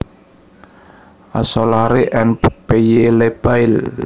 A Solari and P Y Le Bail